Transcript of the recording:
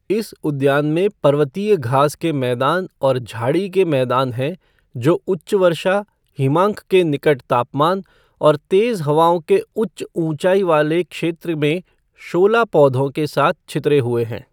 इस उद्यान में पर्वतीय घास के मैदान और झाड़ी के मैदान हैं जो उच्च वर्षा, हिमांक के निकट तापमान और तेज हवाओं के उच्च ऊंचाई वाले क्षेत्र में शोला पौधों के साथ छितरे हुए हैं।